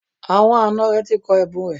Àwọn àna rẹ̀ ti kọ ẹ̀bùn rẹ̀